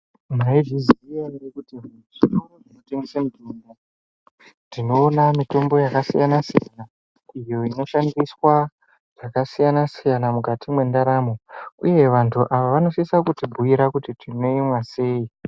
Maizviziya ere kuti mudziyo inotengesa mutombo tinoona mutombo yakasiyana siyana iyo inoshandiswa zvakasiyana siyana mukati mendaramo dzedu uye vandu ava vanosisa kutibhiira kuti tinoimwa sei.